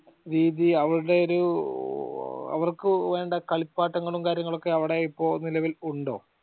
രീതി അവരുടെ ഒരു അവർക് വേണ്ട കളിപ്പാട്ടങ്ങളും കാര്യങ്ങളൊക്കെ അവടെ ഇപ്പൊ നിലവിൽ ഉണ്ടോ